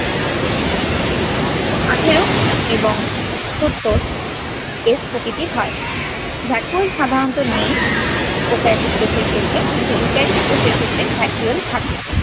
আঠেরো এবং সত্তর s প্রকৃতির হয়। ব্যাকুল সাধারণত নেই prokaryotic কোষের ক্ষেত্রে, কিন্তু eukaryotic কোষের ক্ষেত্রে থাকে।